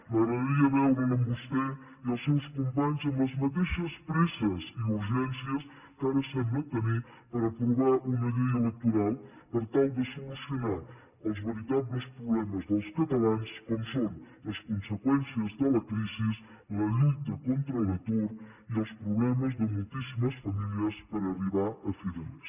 m’agradaria veure’ls a vostè i els seus companys amb les mateixes presses i urgències que ara semblen tenir per aprovar una llei electoral per tal de solucionar els veritables problemes dels catalans com són les conseqüències de la crisi la lluita contra l’atur i els problemes de moltíssimes famílies per arribar a fi de mes